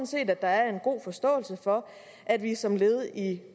set at der er en god forståelse for at vi som led i